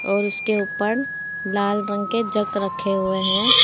और उसके ऊपर लाल रंग के जग रखे हुए हैं।